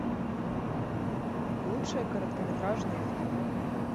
лучшие короткометражные фильмы